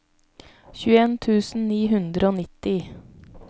tjueen tusen ni hundre og nitti